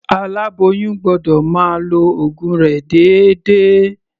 Aláboyún gbọ́dọ̀ máa lo ògun rẹ̀ déédéé.